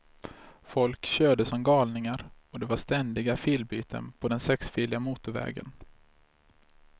Folk körde som galningar och det var ständiga filbyten på den sexfiliga motorvägen.